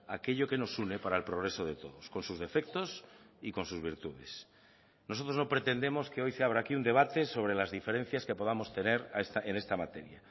aquello que nos une para el progreso de todos con sus defectos y con sus virtudes nosotros no pretendemos que hoy se habrá aquí un debate sobre las diferencias que podamos tener en esta materia